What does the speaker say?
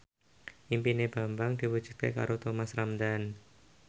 impine Bambang diwujudke karo Thomas Ramdhan